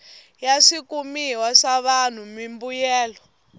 ya swikumiwa swa vanhu mimbuyelo